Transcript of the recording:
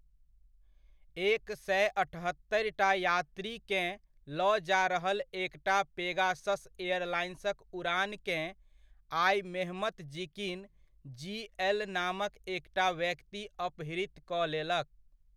एक सए अठहत्तरिटा यात्रीकेँ लऽ जा रहल एक टा पेगासस एयरलाइनक उड़ानकेँ, आइ मेहमत जीकिन जी.एल नामक एकटा व्यक्ति अपहृत कऽ लेलक।